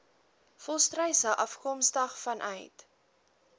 volstruise afkomstig vanuit